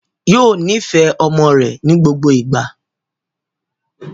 Yóò nifẹ ọmọ rẹ̀ ní gbogbo ìgbà